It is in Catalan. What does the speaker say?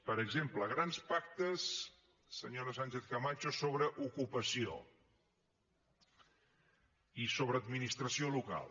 per exemple grans pactes senyora sánchez camacho sobre ocupació i sobre administració local